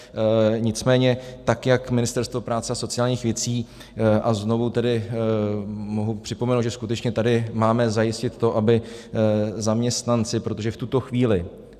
Nicméně tak jak Ministerstvo práce a sociálních věcí, a znovu tedy mohu připomenout, že skutečně tady máme zajistit to, aby zaměstnanci, protože v tuto chvíli...